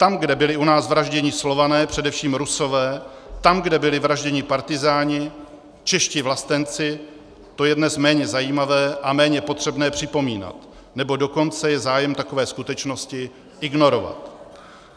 Tam, kde byli u nás vražděni Slované, především Rusové, tam, kde byli vražděni partyzáni, čeští vlastenci, to je dnes méně zajímavé a méně potřebné připomínat, nebo dokonce je zájem takové skutečnosti ignorovat.